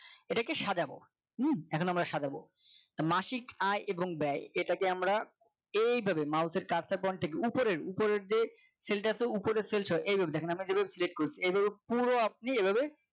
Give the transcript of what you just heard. এটাকে সাজাবো হম এখন আমরা সাজাবো মাসিক আয় এবং ব্যয় এটাকে আমরা এইভাবে Mouse এর carsar point এর উপরের উপরের যে cell টা আছে উপরে cell আছে এই যে দেখেন আমরা যেভাবে Select করছি। এভাবে পুরো আপনি এভাবে